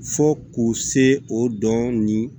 Fo k'u se o dɔn nin